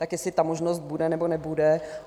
Tak jestli ta možnost bude, nebo nebude.